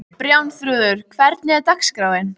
Bjarnþrúður, hvernig er dagskráin?